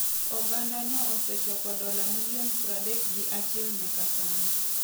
Ogandano osechoko dola milion pradekgiachielnyaka sani.